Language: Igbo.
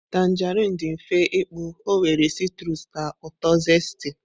tanjerịn dị mfe ịkpụ, ọ nwere citrus na uto zesty.